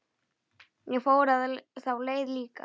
Ég fór þá leið líka.